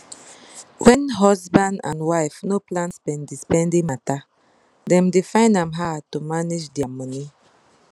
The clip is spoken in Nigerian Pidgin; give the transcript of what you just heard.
wen husband and wife no plan spendispendi matter dem dey find am harr to manage dia money